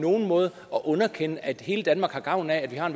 nogen måde at underkende at hele danmark har gavn af at vi har